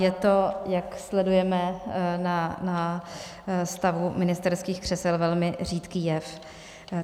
Je to, jak sledujeme na stavu ministerských křesel, velmi řídký jev.